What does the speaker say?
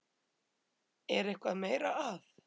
Er eitthvað meira að?